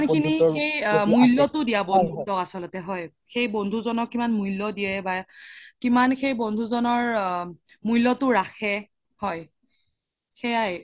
মুল্য দয়াব বন্ধুত্ব আচল্তে হয় সেই বন্ধুজনক কিমান মুল্য দিয়ে বা কিমান খিনি বন্ধুজনৰ আ মুল্যতো ৰাখে হয় সেইয়াই